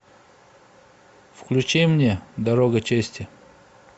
включи мне дорога чести